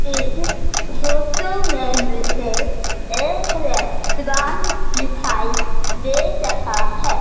इस फोटो में मुझे एक रेस्टोरेंट दिखाई दे रहा है।